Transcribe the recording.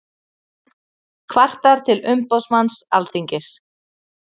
Kvartar til umboðsmanns Alþingis